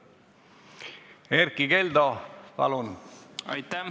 Erkki Keldo, palun!